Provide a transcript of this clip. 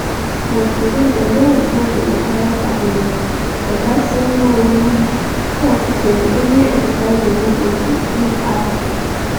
but today dem don dissolve di entire cabinet oga sanyaolu tok dem only exercise democracy im add put